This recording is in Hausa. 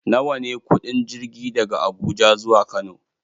Nawa ne kuɗin jirgi daga Abuja zuwa Kano?